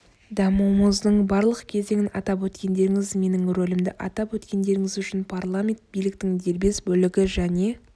дамуымыздың барлық кезеңін атап өткендеріңіз менің рөлімді атап өткендеріңіз үшін парламент биліктің дербес бөлігі және